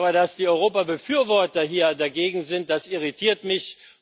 Aber dass die Europabefürworter hier dagegen sind, das irritiert mich.